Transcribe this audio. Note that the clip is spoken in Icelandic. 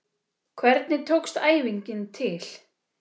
Hvernig tókst æfingin til?